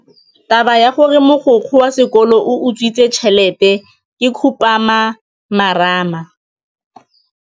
Taba ya gore mogokgo wa sekolo o utswitse tšhelete ke khupamarama.